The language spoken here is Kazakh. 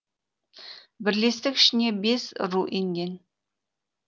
бірлестік ішіне бес ру енген